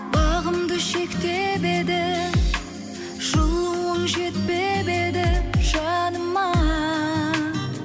бағымды шектеп еді жылуың жетпеп еді жаныма